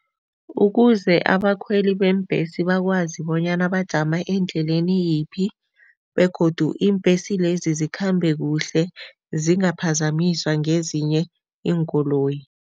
Ukuze abakhweli beembhesi bakwazi bonyana bajama endleleni yiphi begodu iimbhesi lezi zikhambe kuhle, zingaphazamiswa ngezinye iinkoloyi.